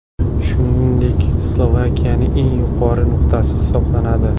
Shuningdek, Slovakiyaning eng yuqori nuqtasi hisoblanadi.